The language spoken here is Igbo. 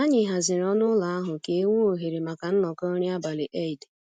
Anyị haziri ọnụ ụlọ ahụ ka e nwee ohere maka nnọkọ nri abalị Eid